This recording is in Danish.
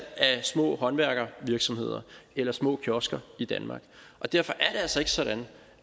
af små håndværksvirksomheder eller små kiosker i danmark derfor er det altså ikke sådan